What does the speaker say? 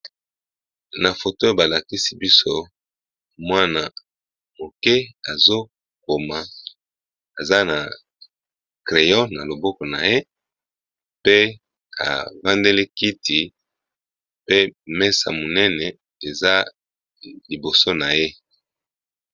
Na photo balakisi biso mwana muke oyo koma aza na crayon na loboko naye pe avandeli kiti pe mesa eza liboso na ye.